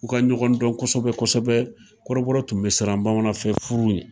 U ka ɲɔgɔn dɔn kɔsɛbɛ kɔsɛbɛ, kɔrɔbɔrɔ tun bɛ siran bamanan fɛ furu ɲɛ.